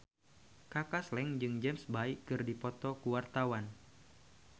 Kaka Slank jeung James Bay keur dipoto ku wartawan